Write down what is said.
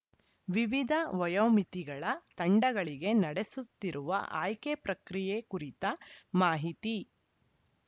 ವಿವಿಧ ವಯೋಮಿತಿಗಳ ತಂಡಗಳಿಗೆ ನಡೆಸುತ್ತಿರುವ ಆಯ್ಕೆ ಪ್ರಕ್ರಿಯೆ ಕುರಿತ ಮಾಹಿತಿ